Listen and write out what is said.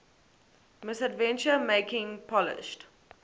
misadventure making polished